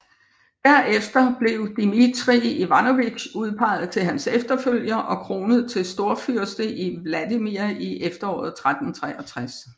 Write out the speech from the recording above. Derefter blev Dmitrij Ivanovitj udpeget til hans efterfølger og kronet til storfyrste i Vladimir i efteråret 1363